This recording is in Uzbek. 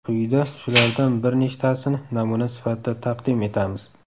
Quyida shulardan bir nechtasini namuna sifatida taqdim etamiz .